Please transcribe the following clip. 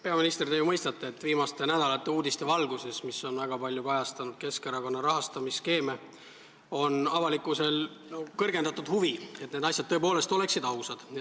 Peaminister, te ju mõistate, et viimaste nädalate uudiste valguses, mis on väga palju kajastanud Keskerakonna rahastamisskeeme, on avalikkusel kõrgendatud huvi, et need asjad oleksid tõepoolest ausad.